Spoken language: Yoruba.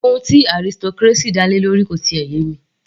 Ohun tí aristocracy dá lé lórí kò yé mi